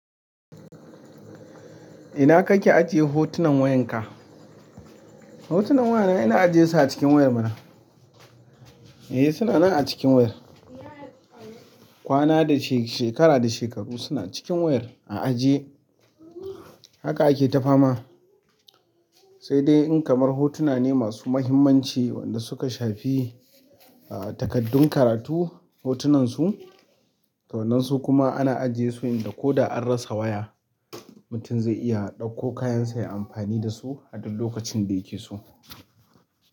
Ina kake ajiye hotunan wayanka? Hotunan wayana ina ajiyesu a cikin wayar mana. Eh suna nan a cikin wayar. Kwana da she-- shekara da shekaru suna cikin wayar a aje haka ake ta fama sai dai in kamar hotuna ne masu muhimmanci wanda suka shafi ah takardun karatu hotunansu to wannan su kuma ana ajiyesu inda ko da an rasa waya mutun zai iya ɗakko kayan sa ya amfani dasu a duk lokacin da yake so.